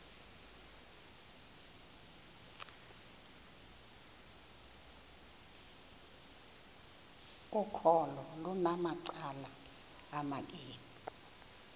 ukholo lunamacala amabini